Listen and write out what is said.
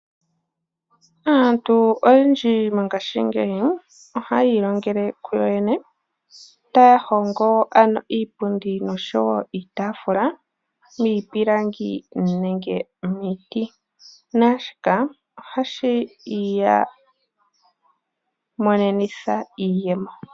Aantu oyendji mongaashingeyi ohaya yi ilongele kuyo yene taya hongo ano iipundi noshowo iitafula miipilangi nenge miiti naashika ohashi iya monenitha iiyemo.